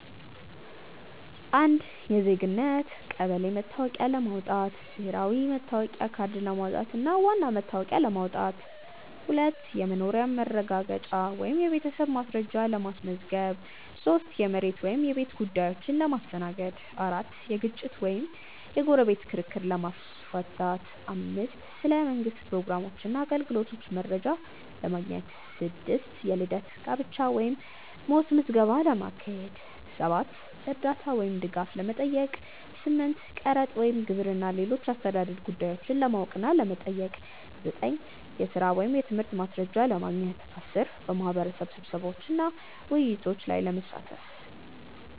1. የዜግነት /ቀበሌ መታወቂያ ለማዉጣት፦ ብሔራዊ መታወቂያ ካርድ ለማውጣት እንደ ዋና መታወቂያ ለማዉጣት። 2. የመኖሪያ ማረጋገጫ ወይም የቤተሰብ ማስረጃ ለ ማስመዝገብ 3. የመሬት ወይም የቤት ጉዳዮችን ለመስተናገድ 4. የግጭት ወይም የጎረቤት ክርክር ለ ማስመፍታት 5. ስለ መንግስት ፕሮግራሞችና አገልግሎቶች መረጃ ለማግኘት 6. የልደት፣ ጋብቻ ወይም ሞት ምዝገባ ለማካሄድ 7. እርዳታ ወይም ድጋፍ ለመጠየቅ 8. ቀረጥ ወይም ግብር እና ሌሎች የአስተዳደር ጉዳዮችን ለማወቅ እና ለመጠየቅ 9. የሥራ ወይም የትምህርት ማስረጃ ለማግኘት 10. በማህበረሰብ ስብሰባዎችና ውይይቶች ላይ ለመሳተፍ።